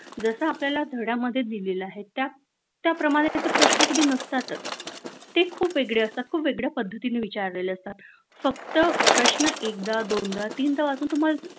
जस आपल्याला धड्यांमध्ये दिलेल आहे त्याप्रमाणे ते प्रश्न कधी नसतातच ते खूप वेगळे असतात खूप वेगळ्या पद्धतीने विचारलेले असतात फक्त प्रश्न एकदा दोनदा तीनदा वाचून तुम्हाला